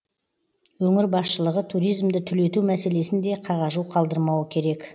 өңір басшылығы туризмді түлету мәселесін де қағажу қалдырмауы керек